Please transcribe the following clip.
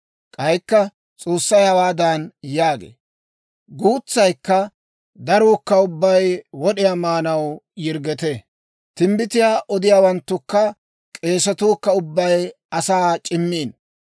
K'aykka S'oossay hawaadan yaagee; «Guutsaykka daruukka ubbay wod'iyaa maanaw yirggetee. Timbbitiyaa odiyaawanttukka k'eesatuu kka ubbay asaa c'immiino.